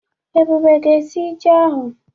Ebube ga-esi ji ahụ.